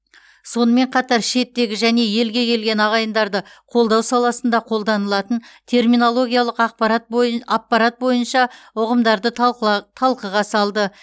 сонымен қатар шеттегі және елге келген ағайындарды қолдау саласында қолданылатын терминологиялық аппарат бойынша ұғымдарды талқыға салды